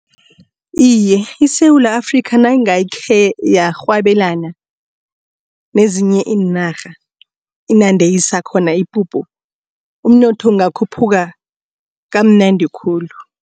Iye, iSewula Afrika nangakhe yarhwebelana nezinye iinarha inande isakhona ipuphu umnotho ungakhuphuka kamnandi khulu.